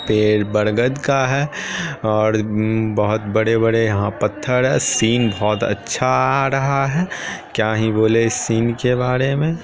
-- पेड़ बरगद का है और उम् बहुत बड़े-बड़े यहां पत्थर है सीन बहुत अच्छा आ रहा है क्या ही बोलें इस सीन के बारे में।